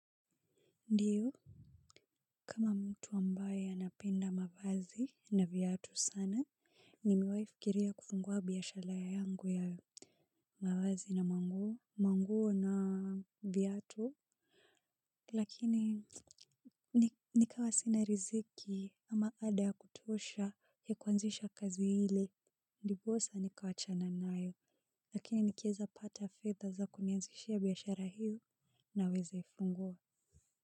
Ndio kama mtu ambaye anapenda mavazi na viatu sana nimewahi fikiria kufungua biashara yangu ya mavazi na manguo manguo na viatu lakini nikawa sina riziki ama ada ya kutosha ya kuanzisha kazi ile ndiposa nikawachana nayo lakini nikieza pata fedha za kunianzishia biashara hiyo naweza fungua.